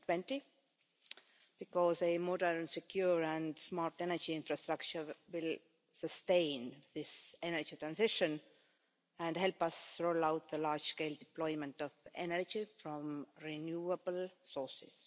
2020. Because a modern, secure and smart energy infrastructure will sustain this energy transition and help us roll out the large scale deployment of energy from renewable sources.